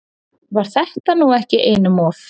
Var þetta nú ekki einum of?